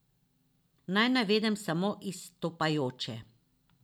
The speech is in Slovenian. Naj navedem samo izstopajoče.